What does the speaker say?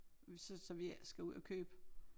Som vi ikke skal ud og købe